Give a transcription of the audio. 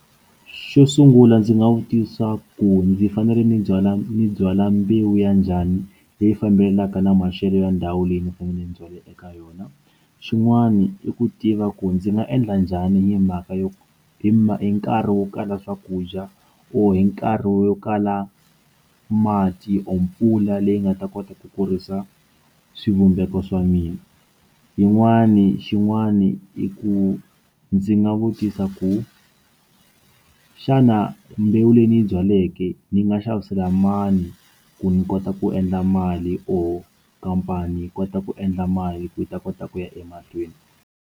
Xo sungula ndzi nga vutisa ku ndzi fanele ndzi byala ni byala mbewu ya njhani leyi fambelenaka na maxelo ya ndhawu leyi ni fanele ni byale eka yona xin'wani i ku tiva ku ndzi nga endla njhani ni mhaka yo hi ma hi nkarhi wo kala swakudya or hi nkarhi wo kala mati or mpfula leyi nga ta kota ku kurisa swivumbeko swa mina yin'wani xin'wani i ku ndzi nga vutisa ku xana mbewu leyi ni yi byaleke ni nga xavisela mani ku ni kota ku endla mali or khampani yi kota ku endla mali ku yi ta kota ku ya emahlweni.